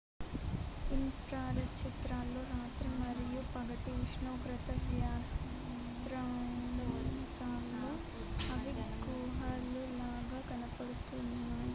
infrared చిత్రాల్లో రాత్రి మరియు పగటి ఉష్ణోగ్రత వ్యత్యాసాల్లో అవి గుహలు లాగా కనపడుతున్నాయి